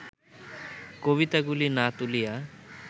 কবিতাগুলি না তুলিয়া